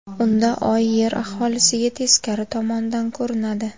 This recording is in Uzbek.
Unda Oy Yer aholisiga teskari tomonidan ko‘rinadi.